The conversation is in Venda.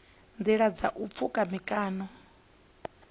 nḓilani ha u pfuka mikano